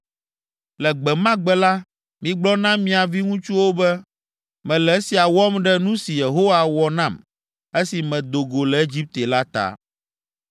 Le gbe ma gbe la, migblɔ na mia viŋutsuwo be, ‘Mele esia wɔm ɖe nu si Yehowa wɔ nam, esi medo go le Egipte la ta.’